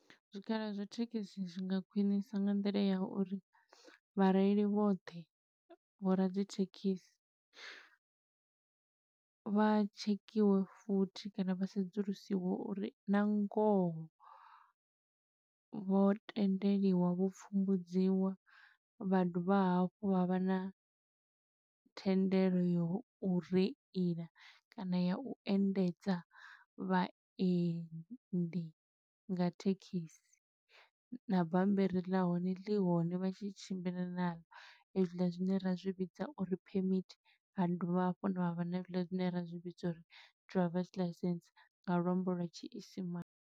Zwikhala zwa thekhisi zwi nga khwiṋisa nga nḓila ya uri, vhareili vhoṱhe, vho radzithekhisi vha tshekhiwe futhi kana vha sedzulusiwe uri nga ngoho vho tendeliwa, vho pfumbudziwa, vha dovha hafhu vha vha na thendelo yo u reila, kana ya u endedza vhaendi nga thekhisi. Na bammbiri ḽa hone ḽi hone vha tshi tshimbila na ḽo, hezwiḽa zwine ra zwi vhidza uri phemithi. Ra dovha hafhuni havha na hezwiḽa zwine ra zwi vhidza uri driver's license, nga luambo lwa tshiisimane.